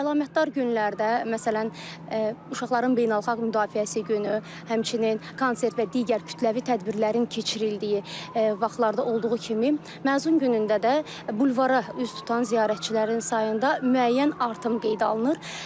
Əlamətdar günlərdə, məsələn, uşaqların beynəlxalq müdafiəsi günü, həmçinin konsert və digər kütləvi tədbirlərin keçirildiyi vaxtlarda olduğu kimi, məzun günündə də bulvara üz tutan ziyarətçilərin sayında müəyyən artım qeydə alınır.